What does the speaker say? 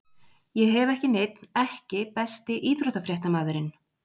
Ég hef ekki neinn EKKI besti íþróttafréttamaðurinn?